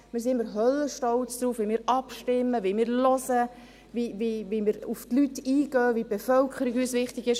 wir sind immer «höllenstolz» darauf, wie wir abstimmen, wie wir hinhören, wie wir auf die Leute eingehen, wie uns die Bevölkerung wichtig ist.